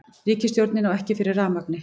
Ríkisstjórnin á ekki fyrir rafmagni